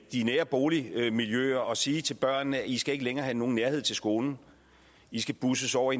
de nære boligmiljøer at sige til børnene i skal ikke længere have nogen nærhed til skolen i skal busses over